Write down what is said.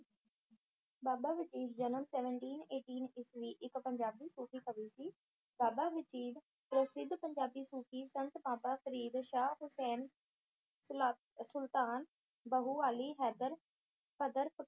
ਬਾਬਾ ਵਜੀਦ ਜਨਮ Seventeen Eighteen ਈਸਵੀ ਇੱਕ ਪੰਜਾਬੀ ਸੂਫ਼ੀ ਕਵੀ ਸੀ। ਬਾਬਾ ਵਜੀਦ ਪ੍ਰਸਿੱਧ ਪੰਜਾਬੀ ਸੂਫ਼ੀਆਂ ਸੰਤਾ- ਬਾਬਾ ਫ਼ਰੀਦ, ਸ਼ਾਹ ਹੁਸੈਨ, ਸੁਨਾ~ ਸੁਲਤਾਨ ਬਾਹੂ, ਅਲੀ ਹੈਦਰ,